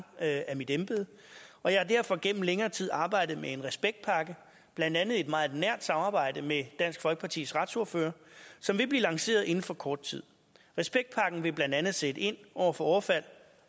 af i mit embede og jeg har derfor gennem længere tid arbejdet med en respektpakke blandt andet i et meget nært samarbejde med dansk folkepartis retsordfører som vil blive lanceret inden for kort tid respektpakken vil blandt andet sætte ind over for overfald